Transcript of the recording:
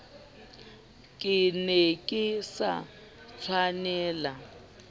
ke ne ke sa tshwanela